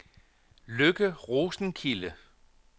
Lykke Rosenkilde